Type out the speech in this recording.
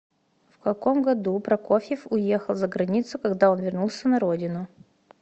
в каком году прокофьев уехал за границу когда он вернулся на родину